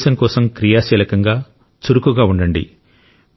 దేశం కోసం క్రియాశీలకంగా చురుకుగా ఉండండి